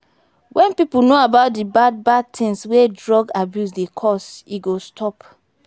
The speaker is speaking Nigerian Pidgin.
wen pipo know about de bad bad things wey drug abuse dey cos e go stop.